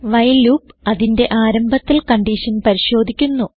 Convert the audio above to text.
while loop അതിന്റെ ആരംഭത്തിൽ condition പരിശോധിക്കുന്നു